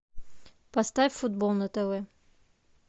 поставь футбол на тв